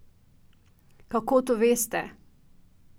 Kako to veste?